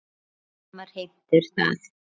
Ekki slæmar heimtur það.